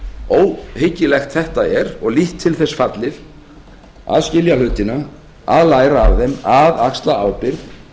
óhyggilegt þetta er og lítt til þess fallið að skilja hlutina að læra af þeim að axla ábyrgð